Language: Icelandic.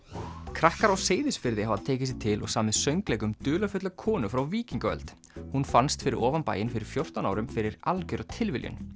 krakkar á Seyðisfirði hafa tekið sig til og samið söngleik um dularfulla konu frá víkingaöld hún fannst fyrir ofan bæinn fyrir fjórtán árum fyrir algjöra tilviljun